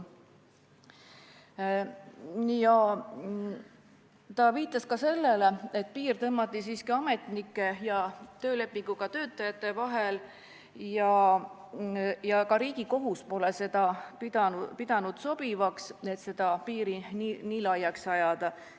Ta viitas sellele, et piir tõmmati siiski ametnike ja töölepinguga töötajate vahele ning ka Riigikohus pole pidanud sobivaks, et seda nii laiaks ajada.